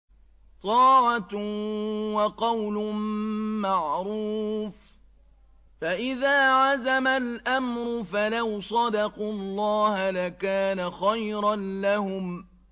طَاعَةٌ وَقَوْلٌ مَّعْرُوفٌ ۚ فَإِذَا عَزَمَ الْأَمْرُ فَلَوْ صَدَقُوا اللَّهَ لَكَانَ خَيْرًا لَّهُمْ